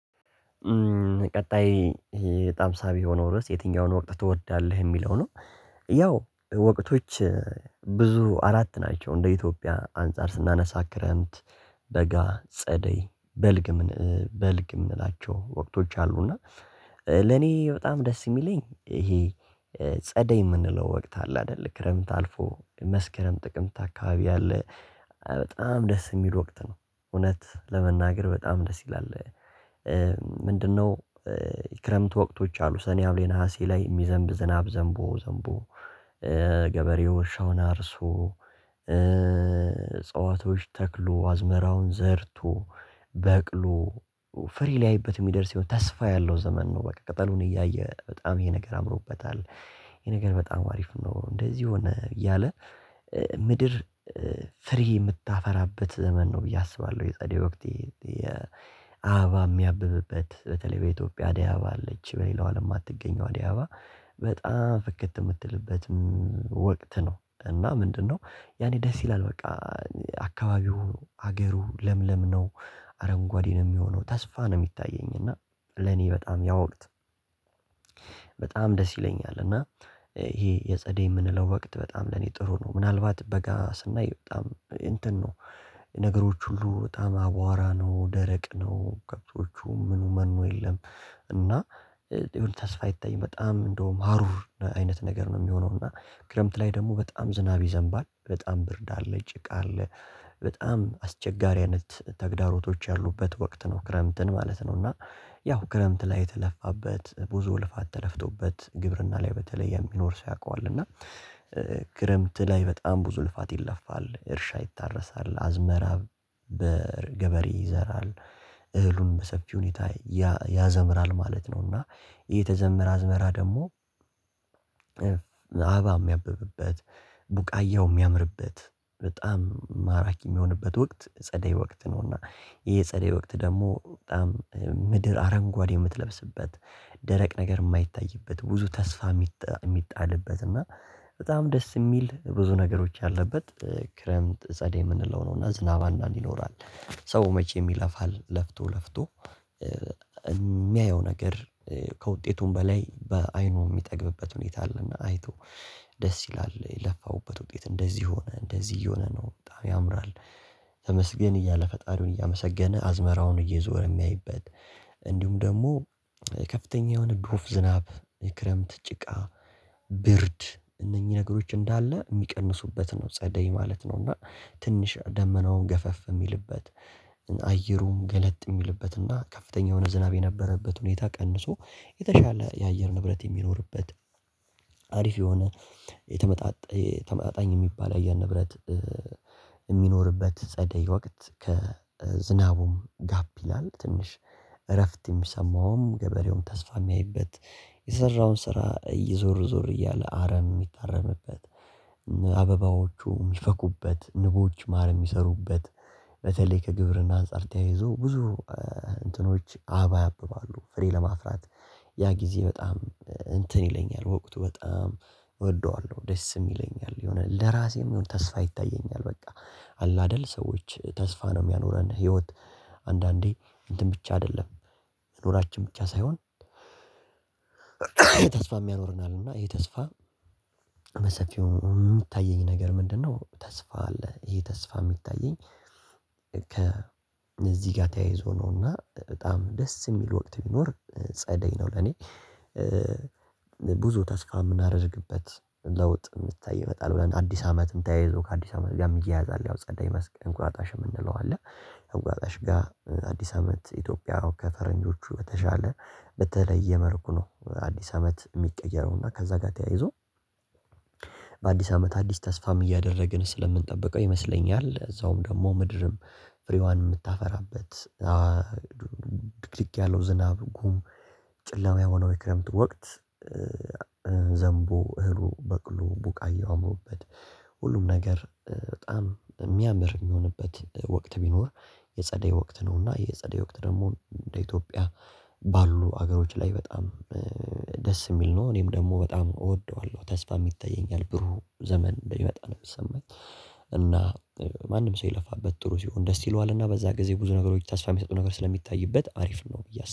ቀጣይ በጣም ሳቢ የሆነው ርዕስ የትኛውን ወቅት ትወዳለህ የሚለው ነው? ያው ወቅቶች ብዙ አራት ናቸው እንደ ኢትዮጵያ አንፃር ስናነሳ ክረምት። በጋ ጸደይ በልግ በልግ የምንላቸው ወቅቶች አሉ። እና ለኔ በጣም ደስ የሚለኝ ይሄ ጸደይ የምንለው ወቅት አለ አይደል ክረምት አልፎ መስከረም ጥቅምት አካባቢ አለ። በጣም ደስ የሚል ወቅት ነው እውነት ለመናገር በጣም ደስ ይላል። ምንድነው? የክረምት ወቅቶች አሉ ሰኔ ሀምሌ ነሀሴ ላይ የሚዘንብ ዝናብ ዘንቦ ዘንቦ። ገበሬው እርሻውን አርሶ እጽዋቶች ተክሎ አዝመራውን ዘርቶ በቅሎ ፍሬ ላይቤት የሚደርስ የሆነ ተስፋ ያለው ዘመን ነው። በቃ ቅጠሉን እያየ በጣም ይሄ ነገር አምሮበታል። ይሄ ነገር በጣም ሀሪፍ ነው እንደዚህ ሆነ እያለ። ምድር ፍሬ የምታፈራበት ዘመን ነው ብዬ አስባለሁ። የጸዴ ወቅት የአበባ የሚያብብበት በተለይ በኢትዮጵያ አድያአበባ አለች በሌላው አለም የማትገኘው አድያአበባ። በጣም ፍክት የምትልበትም ወቅት ነው። እና ምንድነው ያኔ ደስ ይላል። በቃ አካባቢው ሀገሩ ለምለም ነው። አረንጓዴ ነው የሚሆነው ተስፋ ነው የሚታየኝ እና ለኔ በጣም ያ ወቅት። በጣም ደስ ይለኛል። እና ይሄ የጸዴ የምንለው ወቅት በጣም ለኔ ጥሩ ነው። ምናልባት በጋ ስናይ በጣም እንትን ነው ነገሮች ሁሉ በጣም አቧራ ነው ደረቅ ነው ከብቶቹ ምኑ መኑ የለም። እና የሆነ ተስፋ አይታይም። በጣም እንደውም ሀሩር አይነት ነገር ነው የሚሆነው እና ክረምት ላይ ደግሞ በጣም ዝናብ ይዘንባል በጣም ብርድ አለ ይጭቃል። በጣም አስቸጋሪያነት ተግዳሮቶች ያሉበት ወቅት ነው ክረምትን ማለት ነው። እና ያው ክረምት ላይ የተለፋበት ብዙ ልፋት ተለፍቶበት ግብርና ላይ በተለይ የሚኖር ሰው ያውቀዋል። እና ክረምት ላይ በጣም ብዙ ልፋት ይለፋል እርሻ ይታረሳል አዝመራ በገበሬ ይዘራል። እህሉን በሰፊ ሁኔታ ያዘምራል ማለት ነው። እና የተዘመረ አዝመራ ደግሞ አበባም ሚያብብበት ቡቃያው የሚያምርበት በጣም ማራኪ የሚሆንበት ወቅት ጸደይ ወቅት ነውና። ይሄ ጸደይ ወቅት ደግሞ በጣም ምድር አረንጓዴ የምትለብስበት ደረቅ ነገር የማይታይበት ብዙ ተስፋ። የሚጣልበት እና በጣም ደስ የሚል ብዙ ነገሮች ያለበት ክረምት ጸደይ የምንለው ነው። እና ዝናብ አንዳንድ ይኖራል ሰው መቼም ይለፋል ለፍቶ ለፍቶ የሚያየው ነገር ከውጤቱም በላይ በአይኑ የሚጠግብበት ሁኔታ አለና አይቶ ደስ ይላል የለፋውበት ውጤት እንደዚህ ሆነ እንደዚህ እየሆነ ነው በጣም ያምራል። ተመስገን እያለ ፈጣሪውን እያመሰገነ አዝመራውን እየዞረ የሚያይበት። እንዲሁም ደግሞ ከፍተኛ የሆነ ዶፍ ዝናብ የክረምት ጭቃ ብርድ እነኚህ ነገሮች እንዳለ የሚቀንሱበት ነው ጸደይ ማለት ነው። እና ትንሽ ደመናውን ገፈፍ የሚልበት አየሩም ገለጥ የሚልበት እና ከፍተኛ የሆነ ዝናብ የነበረበት ሁኔታ ቀንሶ የተሻለ የአየር ንብረት የሚኖርበት። ሀሪፍ የሆነ ተመጣጣኝ የሚባል አየር ንብረት የሚኖርበት ጸደይ ወቅት ከዝናቡም ጋፕ ይላል። ትንሽ እረፍትም ሚሰውም ገበሬውም ተስፋ የሚያይበት የሰራውን ስራ እየዞር ዞር እያለ አረም የሚታረምበት። አበባዎቹ የሚፈኩበት ንቦች ማር የሚሰሩበት በተለይ ከግብርና አንፃር ተያይዞ ብዙ እንትኖች አበባ ያብባሉ ፍሬ ለማፍራት ያ ጊዜ በጣም እንትን ይለኛል ወቅቱ በጣም እወደዋለሁ። ደስም ይለኛል የሆነ ለራሴም የሆነ ተስፋ ይታየኛል። በቃ አለአደል ሰዎች ተስፋ ነው የሚያኖረን ህይወት። አንዳንዴ እንትን ብቻ አይደለም። መኖራችን ብቻ ሳይሆን ተስፋም ያኖረናል። እና ይሄ ተስፋ በሰፊው የምታየኝ ነገር ምንድነው? ተስፋ አለ ይሄ ተስፋ የሚታየኝ። ከ እዚህ ጋር ተያይዞ ነውና በጣም ደስ የሚል ወቅት ቢኖር ጸደይ ነው ለኔ። ብዙ ተስፋ የምናደርግበት ለውጥ የምታይ ይመጣል ብለን አዲስ አመትም ተያይዞ ከአዲስ አመት ጋር የሚያያዝ አለ ጸዳይ መስክ እንቁጣጣሽ የምንለው አለ። እንቁጣጣሽ ጋር አዲስ አመት ኢትዮጵያ ከፈረንጆቹ በተሻለ በተለየ መልኩ ነው። አዲስ አመት የሚቀየረው እና ከዛ ጋር ተያይዞ በአዲስ አመት አዲስ ተስፋም እያደረግን ስለምንጠብቀው ይመስለኛል። እዛውም ደግሞ ምድርም ፍሬዋን የምታፈራበት ድክድክ ያለው ዝናብ ጉም ጨለማ የሆነው የክረምት ወቅት። ዘምቦ እህሉ በቅሎ ቡቃያው ሁሉም ነገር በጣም የሚያምር የሚሆንበት ወቅት ቢኖር የጸደይ ወቅት ነው። እና የጸደይ ወቅት ደግሞ እንደ ኢትዮጵያ ባሉ ሀገሮች ላይ በጣም ደስ የሚል ነው። እኔም ደግሞ በጣም እወደዋለው ተስፋም ይታየኛል ብሩህ ዘመን እንደሚመጣ ነው የሚሰማኝ። እና ማንም ሰው የለፋበት ጥሩ ሲሆን ደስ ይለዋልና በዛ ጊዜ ብዙ ነገሮች ተስፋ የሚሰጡ ነገር ስለሚታይበት ሀሪፍ ነው። ብዬ